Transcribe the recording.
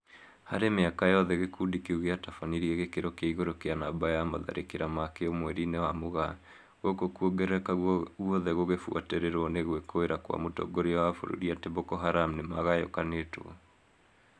Harĩ mĩaka yothe gĩkũndi kĩu gĩatabanirie gĩkĩro kĩa igũrũ kĩa namba ya matharĩkĩra makĩo mweri-inĩ wa Mũgaa, gũkũ kongerereka guothe gũgĩbũatĩrĩrwo nĩ gwĩkũĩra kwa mũtongoria wa bũrũri ati Boko Haram nĩmagayakanĩtwo